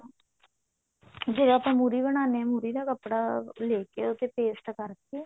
ਜੇ ਆਪਾਂ ਮੁਰ੍ਹੀ ਬਣਾਉਣੇ ਹਾਂ ਜਿਹੜਾ ਕੱਪੜਾ ਲੈ ਕੇ ਉਸ ਤੇ paste ਕਰਕੇ